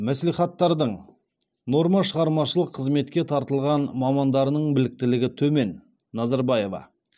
мәслихаттардың нормашығармашылық қызметке тартылған мамандарының біліктілігі төмен назарбаева